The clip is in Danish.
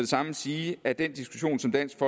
samme sige at den diskussion som dansk